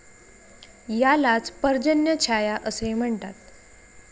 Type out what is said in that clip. यालाच पर्जन्यछाया असे म्हणतात.